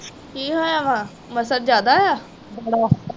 ਕਿ ਹੋਇਆ ਵਾ ਮੱਛਰ ਜਿਆਦਾ ਵਾ